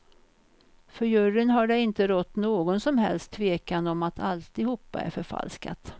För juryn har det inte rått någon som helst tvekan om att alltihopa är förfalskat.